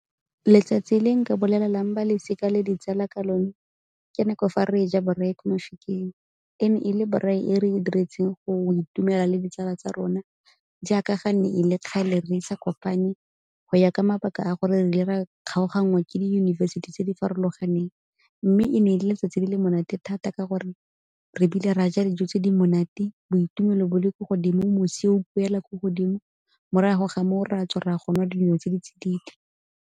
Letsatsi le nka bolelelang ba losika le ditsala ka lone ke nako fa re ja braai ko Mafikeng. E ne e le braai e re e diretseng go itumela le ditsala tsa rona jaaka ga ne e le kgale re sa kopane go ya ka mabaka a gore re ile ra kgaoganngwa ke diyunibesithi tse di farologaneng. Mme e ne e letsatsi le le monate thata ka gore re bile ra ja dijo tse di monate, boitumelo bo le ko godimo, mosi o ko godimo, morago ga moo o re a tswa re a go nwa dino tse di tsididi.